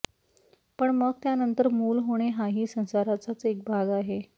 पण मग त्यानंतर मूल होणे हाही संसाराचाच एक भाग आहे